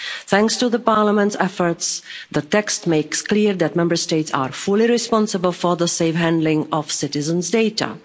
Thanks to Parliament's efforts, the text makes clear that Member States are fully responsible for the safe handling of citizens' data.